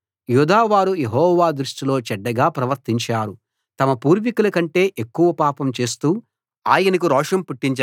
యూదావారు యెహోవా దృష్టిలో చెడ్డగా ప్రవర్తించారు తమ పూర్వీకులకంటే ఎక్కువ పాపం చేస్తూ ఆయనకు రోషం పుట్టించారు